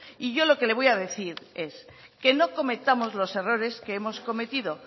y yo lo que le voy a decir es que no cometamos los errores que hemos cometido